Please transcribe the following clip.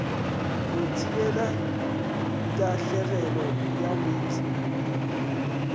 go thibela tahlegelo ya meetse